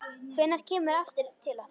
Hvenær kemurðu aftur til okkar?